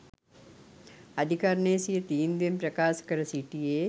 අධිකරණය සිය තීන්දුවෙන් ප්‍රකාශ කර සිටියේ